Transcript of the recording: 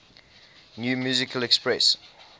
new musical express